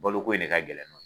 Balo ko de ka gɛlɛn ma.